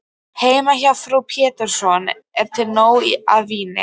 Heima hjá frú Pettersson er til nóg af víni.